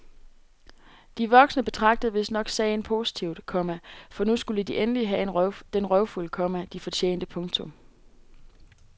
De voksne betragtede vistnok sagen positivt, komma for nu skulle de endelig have den røvfuld, komma de fortjente. punktum